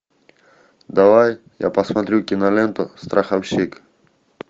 давай я посмотрю киноленту страховщик